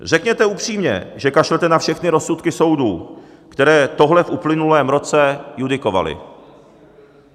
Řekněte upřímně, že kašlete na všechny rozsudky soudů, které tohle v uplynulém roce judikovali.